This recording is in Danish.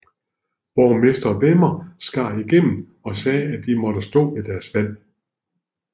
Borgmester Werner skar igennem og sagde at de måtte stå ved deres valg